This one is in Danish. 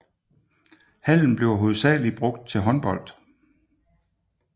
Hallen bliver hovedsageligt brugt til håndbold